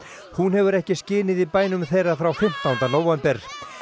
hún hefur ekki skinið í bænum þeirra frá fimmtánda nóvember